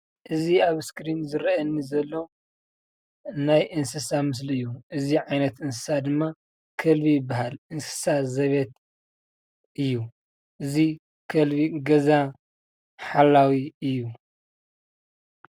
እዚ ኣብ እስክሪን ዝረኣየኒ ዘሎ ናይ እንስሳ ምስሊ እዩ:: እዚ ዓይነት እንስሳ ድማ ከልቢ ይበሃል:: እንስሳ ዘቤት እዩ:: እዚ ከልቢ ገዛ ሓልዊ እዩ ።